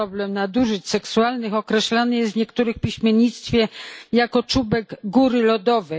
Problem nadużyć seksualnych określany jest czasem w piśmiennictwie jako czubek góry lodowej.